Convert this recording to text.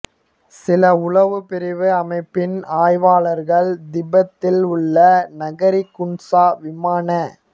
சில உளவு பிரிவு அமைப்பின் ஆய்வாளர்கள் திபெத்தில் உள்ள நகரி குன்சா விமான